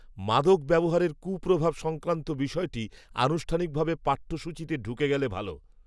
মাদক ব্যবহারের কূপ্রভাব সংক্রান্ত বিষয়টি, আনুষ্ঠানিকভাবে, পাঠ্যসূচিতে ঢুকে গেলে ভাল